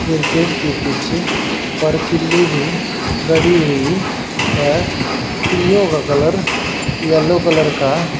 cricket के पीछे परकिल्ली भी गड़ी हुई है किल्लियों का कलर येलो कलर का--